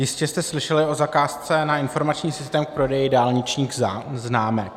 Jistě jste slyšeli o zakázce na informační systém k prodeji dálničních známek.